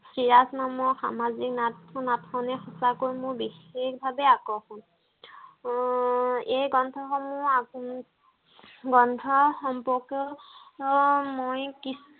চিৰাজ নামৰ সামাজিক নাট নাটক খনে মোৰ বেছি ভাগেই আকৰ্ষণ আহ এই গ্ৰন্থ সমুহ গ্ৰন্থ সম্পৰ্ক ত মই কিছু